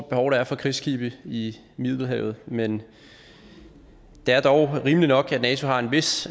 behov der er for krigsskibe i middelhavet men det er dog rimeligt nok at nato har en vis